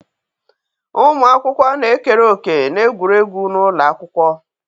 Ụmụ akwụkwọ na-ekere òkè n'egwuregwu n'ụlọ akwụkwọ.